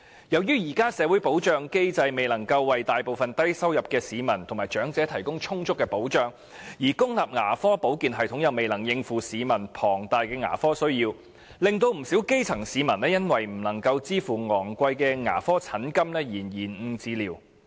由於現時的社會保障機制未能為大部分低收入市民及長者提供充足的保障，而公立牙科保健系統又未能應付市民龐大的牙科需要，不少基層市民因不能支持昂貴的牙科診金而延誤治療。